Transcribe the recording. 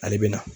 Ale bɛ na